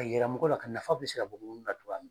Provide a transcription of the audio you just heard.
a yɛrɛ mɔgɔ la ka nafa bɛ se ka bɔ na cogoya min.